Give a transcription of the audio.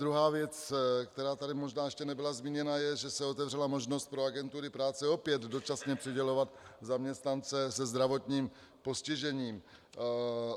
Druhá věc, která tady možná ještě nebyla zmíněna, je, že se otevřela možnost pro agentury práce opět dočasně přidělovat zaměstnance se zdravotním postižením.